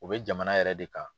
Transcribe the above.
U bɛ jamana yɛrɛ de kan.